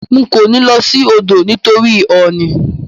N ko ní lo sí odò nítorí òònì